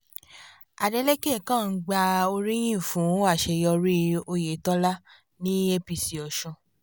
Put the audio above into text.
adélèkẹ̀ kan ń gba oríyìn fún àṣeyọrí oyetola ní apc ọ̀sùn